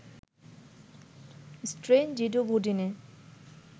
strain জিডোভুডিনে